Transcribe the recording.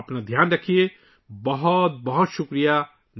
اپنا خیال رکھنا، بہت بہت شکریہ